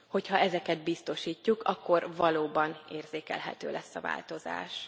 Hogyha ezeket biztosítjuk, akkor valóban érzékelhető lesz a változás.